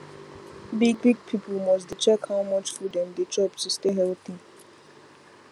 big big people must dey check how much food dem dey chop to stay healthy